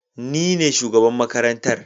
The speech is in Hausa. Ni ne shugaban makarantar